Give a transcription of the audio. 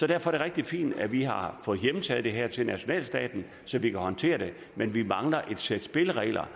det rigtig fint at vi har fået hjemtaget det her til nationalstaten så vi kan håndtere det men vi mangler et sæt spilleregler